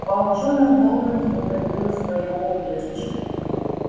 волчонок долго не выходил из своего убежища